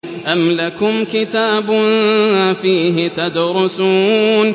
أَمْ لَكُمْ كِتَابٌ فِيهِ تَدْرُسُونَ